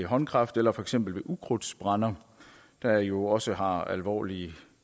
håndkraft eller for eksempel med ukrudtsbrænder der jo også har alvorlige